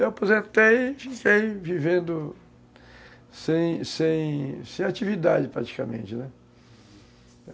Eu aposentei e fiquei vivendo sem sem sem atividade praticamente, né? Uhum.